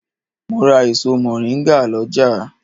Mo ra èso mọ̀ríngà lọ́jà